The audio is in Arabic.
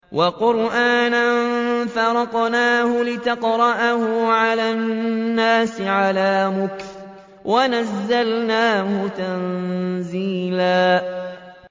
وَقُرْآنًا فَرَقْنَاهُ لِتَقْرَأَهُ عَلَى النَّاسِ عَلَىٰ مُكْثٍ وَنَزَّلْنَاهُ تَنزِيلًا